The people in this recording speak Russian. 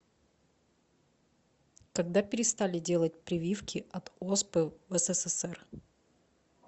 когда перестали делать прививки от оспы в ссср